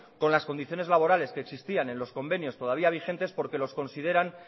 con las condiciones laborales que existían en los convenios todavía vigentes porque los consideran